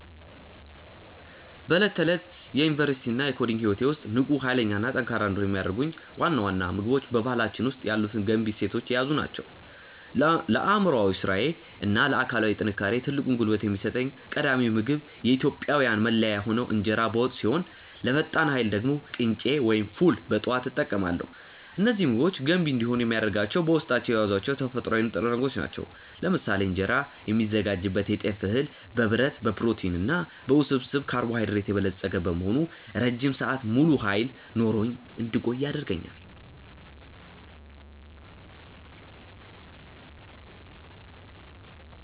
በዕለት ተዕለት የዩኒቨርሲቲ እና የኮዲንግ ህይወቴ ውስጥ ንቁ፣ ኃይለኛ እና ጠንካራ እንድሆን የሚያደርጉኝ ዋና ዋና ምግቦች በባህላችን ውስጥ ያሉትን ገንቢ እሴቶች የያዙ ናቸው። ለአእምሯዊ ስራዬ እና ለአካላዊ ጥንካሬዬ ትልቁን ጉልበት የሚሰጠኝ ቀዳሚው ምግብ የኢትዮጵያዊያን መለያ የሆነው እንጀራ በወጥ ሲሆን፣ ለፈጣን ኃይል ደግሞ ቅንጬ ወይም ፉል በጠዋት እጠቀማለሁ። እነዚህ ምግቦች ገንቢ እንዲሆኑ የሚያደርጋቸው በውስጣቸው የያዟቸው ተፈጥሯዊ ንጥረ ነገሮች ናቸው። ለምሳሌ እንጀራ የሚዘጋጅበት የጤፍ እህል በብረት፣ በፕሮቲን እና በውስብስብ ካርቦሃይድሬት የበለጸገ በመሆኑ ረጅም ሰዓት ሙሉ ኃይል ኖሮኝ እንድቆይ ያደርገኛል።